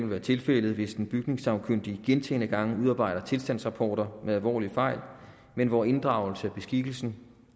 være tilfældet hvis en bygningssagkyndig gentagne gange udarbejder tilstandsrapporter med alvorlige fejl men hvor inddragelse af beskikkelsen